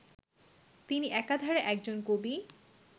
তিনি একধারে একজন কবি